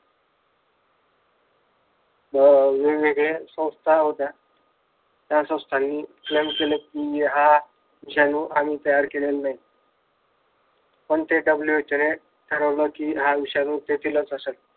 अह वेगवेगळ्या संस्था होत्या या संस्थांनी विषाणू हा आम्ही तयार केलेला नाही पण मग WHO ने ठरवलं कि हा विषाणू तेथीलच असलं.